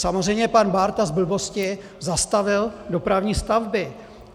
Samozřejmě, pan Bárta z blbosti zastavil dopravní stavby.